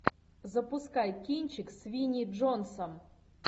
запускай кинчик с винни джонсом